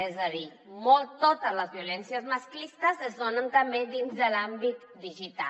és a dir totes les violències masclistes es donen també dins de l’àmbit digital